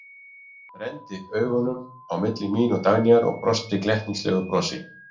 Renndi augunum á milli mín og Dagnýjar og brosti glettnislegu brosi.